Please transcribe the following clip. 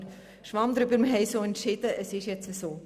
Aber Schwamm drüber, wir haben so entschieden und es ist nun so.